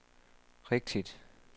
rigtigt